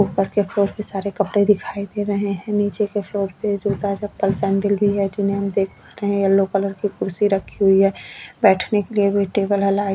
ऊपर के फ्लोर पर सारे कपड़े दिखाई दे रहे है निचे के फ्लोर पर जूता चप्पल सैंडल भी है जिन्हे हम देख पा रहे है येलो कलर की कुर्सी रखी हुई है बैठने के लिए भी टेबल लाइट जल--